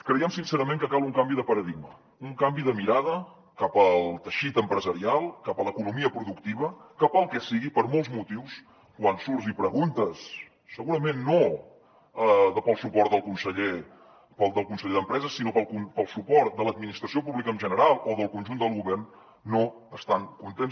creiem sincerament que cal un canvi de paradigma un canvi de mirada cap al teixit empresarial cap a l’economia productiva que pel que sigui per molts motius quan surts i preguntes segurament no pel suport del conseller d’empresa sinó pel suport de l’administració pública en general o del conjunt del govern no estan contents